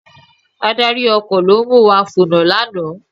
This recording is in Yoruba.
Adarí ọkọ̀ ló mu wa fònà lánàá